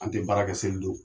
An tɛ baara kɛ seli don.